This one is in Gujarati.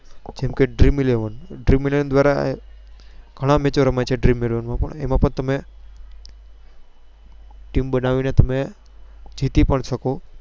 જેમ કે Dream eleven માં ગણા Match રમ્યા છે. અમેં પણ તમે Team બનાવી ની જીતી શકો.